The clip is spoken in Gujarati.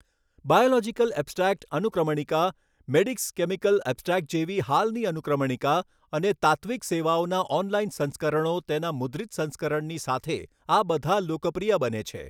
બાયોલોજિકલ ઐબ્સ્ટ્રૈક્ટ અનુક્રમણિકા, મેડિક્સ કેમિકલ ઐબ્સ્ટ્રૈક્ટ જેવી હાલની અનુક્રમણિકા અને તાત્તિ્વક સેવાઓના ઓનલાઇન સંસ્કરણો તેના મુદ્રિત સંસ્કરણની સાથે આ બધા લોકપ્રિય બને છે.